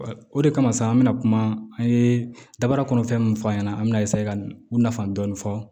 O de kama sa an bɛna kuma an ye dabarakun fɛn min f'an ɲɛna an bɛna ka u nafa dɔɔni fɔ